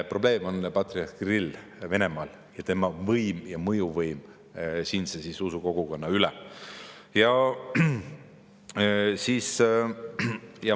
Probleem on patriarh Kirill Venemaal ja tema võim, ka mõjuvõim siinse usukogukonna üle.